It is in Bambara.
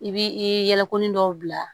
I bi i yɛlɛkonin dɔw bila